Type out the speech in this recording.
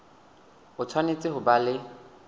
o tshwanetse ho ba le